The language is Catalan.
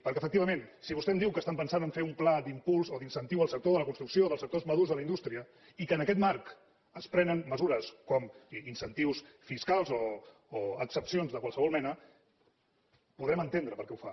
perquè efectivament si vostè em diu que estan pensant a fer un pla d’impuls o d’incentiu al sector de la construcció o dels sectors madurs de la indústria i que en aquest marc es prenen mesures com incentius fiscals o exempcions de qualsevol mena podrem entendre per què ho fa